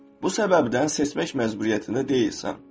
Bu səbəbdən seçmək məcburiyyətində deyilsən.